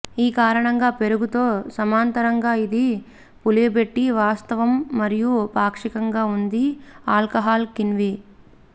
ఈ కారణంగా పెరుగు తో సమాంతరంగా ఇది పులియబెట్టి వాస్తవం మరియు పాక్షికంగా ఉంది ఆల్కహాల్ కిణ్వ